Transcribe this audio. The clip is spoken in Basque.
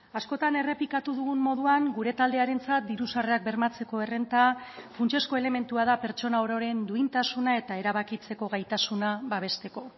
askotan errepikatu dugun moduan gure taldearentzat diru sarrerak bermatzeko errenta funtsezko elementua da pertsona ororen duintasuna eta erabakitzeko gaitasuna babesteko